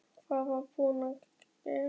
Hvað var ég búin að gera?